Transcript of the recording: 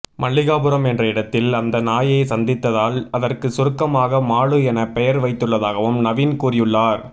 மல்லிகாபுரம் என்ற இடத்தில் அந்த நாயை சந்தித்ததால் அதற்கு சுருக்கமாக மாலு என பெயர் வைத்துள்ளதாகவும் நவீன் கூறியுள்ளார்